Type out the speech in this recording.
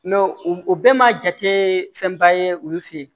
o bɛɛ ma jate fɛnba ye olu fe ye